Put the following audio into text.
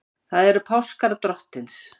Það eru páskar Drottins.